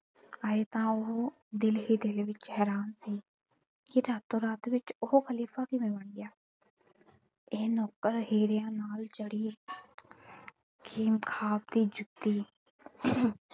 ਆਏ ਤਾਂ ਉਹ ਦਿਲ ਹੀ ਦਿਲ ਵਿੱਚ ਹੈਰਾਨ ਸੀ ਕਿ ਰਾਤੋ ਰਾਤ ਵਿੱਚ ਉਹ ਖਲੀਫ਼ਾ ਕਿਵੇਂ ਬਣ ਗਿਆ ਤੇ ਨੌਕਰ ਹੀਰਿਆਂ ਨਾਲ ਜੜੀ ਖੇਮ ਖਾਬ ਦੀ ਜੁੱਤੀ